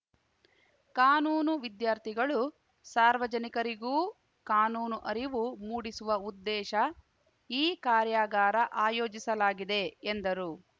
ಕಾನೂನು ವಿದ್ಯಾರ್ಥಿಗಳು ಸಾರ್ವಜನಿಕರಿಗೂ ಕಾನೂನು ಅರಿವು ಮೂಡಿಸುವ ಉದ್ದೇಶ ಈ ಕಾರ್ಯಾಗಾರ ಆಯೋಜಿಸಲಾಗಿದೆ ಎಂದರು